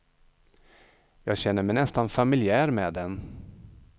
Jag känner mig nästan familjär med den.